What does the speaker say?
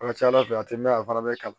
A ka ca ala fɛ a tɛ mɛn a fana bɛ kalan